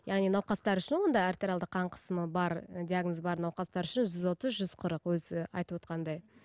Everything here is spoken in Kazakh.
яғни науқастар үшін онда артериалды қан қысымы бар диагнозы бар науқастар үшін жүз отыз жүз қырық өзі айтывотқандай